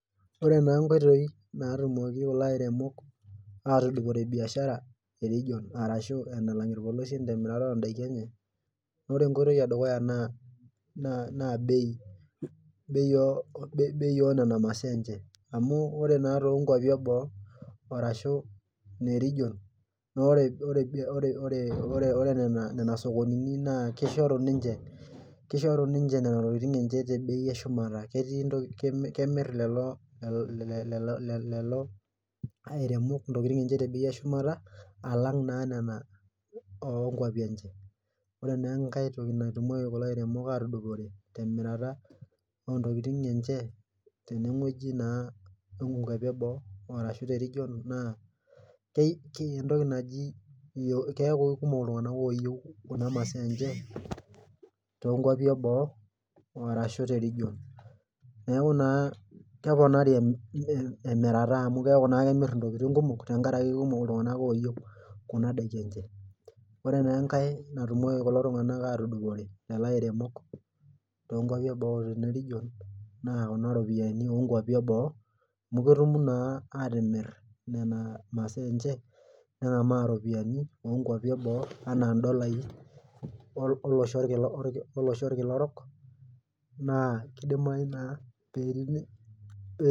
Ore naa inkoitoi naatumoki kulo airemok, ataas biashara,e region arshu enalang ilpolosien, temirata oo daikin enye. ore enkoitoi edukuya naa bei, op nena masaa enye. amun ore naa too nkuapi eboo, arashu ine region ore Nena sokonini kishori ninche Nena tokitin enye te bei eshumata. ketii ntoki, kemir lelo, airemok ntokitin enye te bei eshumata alang' naa lelo oo nkuapi, enye. ore naa enkae toki naatumoki kulo airemok atudupore temirata, ontokitin enye tene wueji naa onkuapi eboo. aarashu te region naa entoki naji. keeku ikumok iltunganak ooyieu kuna masaa enye. too nkuapi eboo arashu te region neeku naa, emirata amu kemir ntokitin. kumok tenkaraki kikumok iltunganak ooyieu. kuna daiki enye. ore naa enkae naatumoki kulo tunganak atudupore Lelo airemok tok nkuapi eboo ena region ,naa Kuna ropiyiani oo nkuapi eboo. amu ketum naa atimir Nena, masaa enye. nengamaa ropiyiani eboo anaa dolai, olosho orkila orok. naa kidimayu naa